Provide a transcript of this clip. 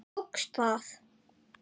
Tókst það.